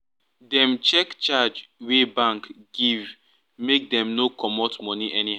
dem check charge wey bank give make dem no comot money